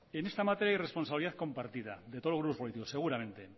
en esta materia hay responsabilidad compartida de todos los grupos políticos seguramente